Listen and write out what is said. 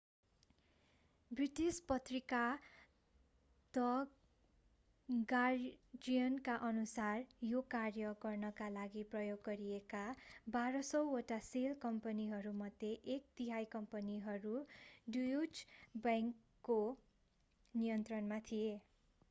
British पत्रिका the गार्जियनका अनुसार यो कार्य गर्नका लागि प्रयोग गरिएका 1200 वटा सेल कम्पनीहरूमध्ये एक तिहाइ कम्पनीहरू ड्युच बैंकको नियन्त्रणमा थिए